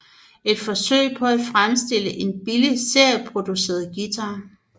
Et forsøg på at fremstille en billig serieproduceret guitar